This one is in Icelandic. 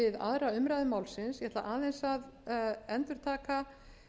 aðra umræðu málsins ég ætla aðeins að endurtaka